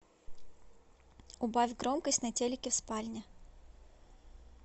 убавь громкость на телике в спальне